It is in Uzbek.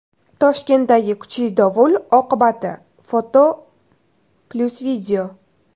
Toshkentdagi kuchli dovul oqibati (foto+video).